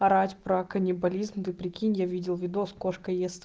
орать про каннибализм ты прикинь я видел видос кошка ест